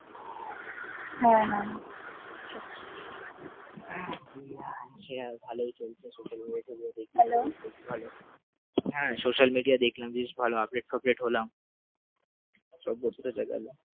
হ্যাঁ social media দেখলাম বেশ ভালো update ফাপডেট হলাম সব কিছু বোঝা গেল ।